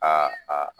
Aa